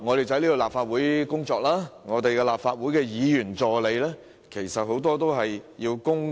在立法會工作的議員助理，也需要作出強積金供款。